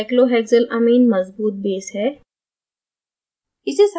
अतः cyclohexylamine मज़बूत base है